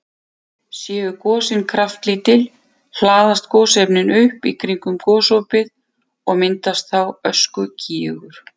Séu gosin kraftlítil hlaðast gosefnin upp í kringum gosopið og myndast þá öskugígur.